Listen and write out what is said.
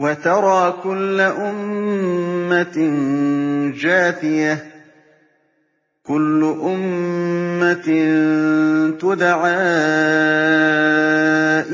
وَتَرَىٰ كُلَّ أُمَّةٍ جَاثِيَةً ۚ كُلُّ أُمَّةٍ تُدْعَىٰ